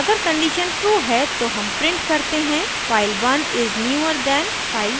अगर condition true है तो हम print करते हैं file1 is newer than file2